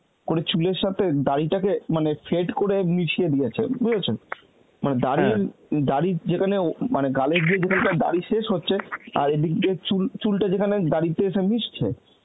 করে চুলের সাথে দাড়িটা কে মানে fade করে মিশিয়ে দিয়েছে, বুঝেছ? মানে দাড়ির দাড়ির যেখানে উ মানে গালের যেখানটা গিয়ে দাড়ি শেষ হচ্ছে আর এদিক দিয়ে চুল, চুলটা যেখানে দাড়িতে এসে মিশছে